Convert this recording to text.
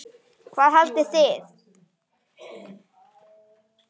Hvað haldið þið!